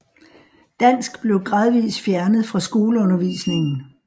Dansk blev gradvis fjernet fra skoleundervisningen